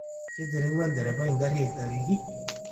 Keterewua lderepai ngari aitariki